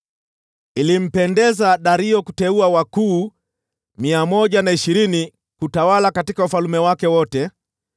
Ilimpendeza Dario kuteua wakuu 120 kutawala katika ufalme wake wote,